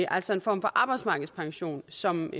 altså en form for arbejdsmarkedspension som